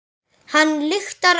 Hann lyktar allur.